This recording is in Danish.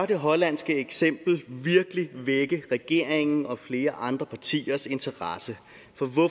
det hollandske eksempel virkelig vække regeringens og flere andre partiers interesse